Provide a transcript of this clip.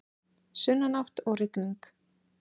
Sunnanátt og rigning